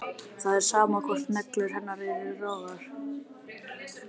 Það er sama hvort neglur hennar eru rauðar, brúnar eða grænar.